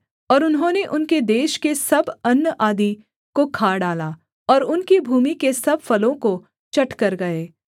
और उन्होंने उनके देश के सब अन्न आदि को खा डाला और उनकी भूमि के सब फलों को चट कर गए